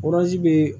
be